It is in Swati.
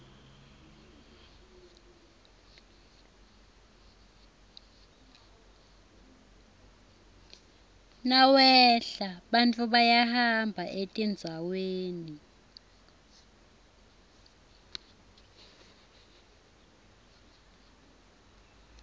nawehla bantfu bayahamba etindzaweni